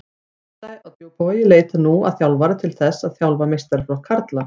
Neisti á Djúpavogi leitar nú að þjálfara til þess að þjálfa meistaraflokk karla.